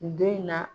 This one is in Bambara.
Don in na